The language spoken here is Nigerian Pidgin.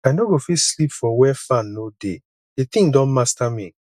i no go fit sleep for where fan no dey the thing don master me